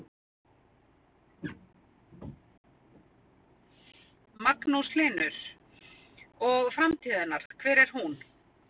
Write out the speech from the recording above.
Magnús Hlynur: Og framtíð hennar, hver er hún?